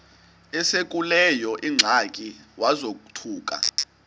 esekuleyo ingxaki wazothuka